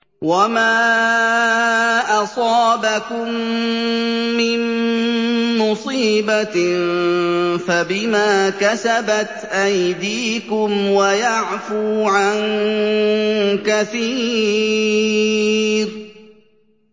وَمَا أَصَابَكُم مِّن مُّصِيبَةٍ فَبِمَا كَسَبَتْ أَيْدِيكُمْ وَيَعْفُو عَن كَثِيرٍ